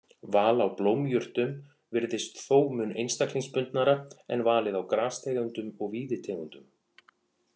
Val á blómjurtum virðist þó mun einstaklingsbundnara en valið á grastegundum og víðitegundum.